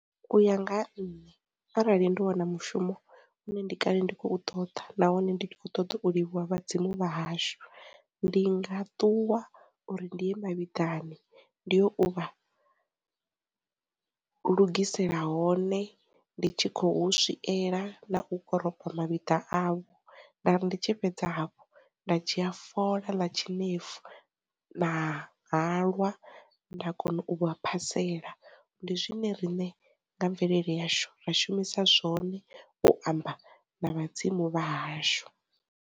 U ya nga ha nṋe arali ndi wana mushumo une ndi kale ndi khou ṱoḓa nahone ndi kho ṱoḓa u livhuwa vhadzimu vha hashu, ndi nga ṱuwa uri ndi ye ma vhiḓani ndi u vha lugisela hone ndi tshi kho hu swiela na u koropa ma vhiḓa avho, nda ri ndi tshi fhedza hafhu nda dzhia fola ḽa tshinefu na halwa nda kona u vha a phaela ndi zwine riṋe nga mvelele yashu ra shumisa zwone u amba na vhadzimu vha hashu.